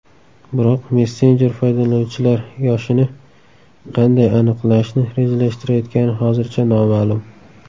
Biroq messenjer foydalanuvchilar yoshini qanday aniqlashni rejalashtirayotgani hozircha noma’lum.